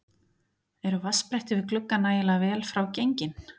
Eru vatnsbretti við glugga nægilega vel frá gengin?